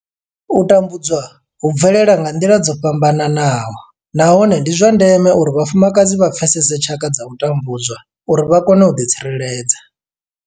U tambudzwa hu bvelela nga nḓila dzo fhambanaho nahone ndi zwa ndeme uri vhafumakadzi vha pfesese tshaka dza u tambudzwa uri vha kone u ḓitsireledza.